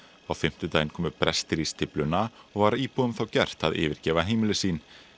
á fimmtudaginn komu brestir í stífluna og var íbúum þá gert að yfirgefa heimili sín